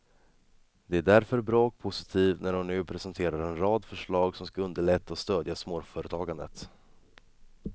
Det är därför bra och positivt när hon nu presenterar en rad förslag som skall underlätta och stödja småföretagandet.